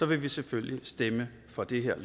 vil vi selvfølgelig stemme for det her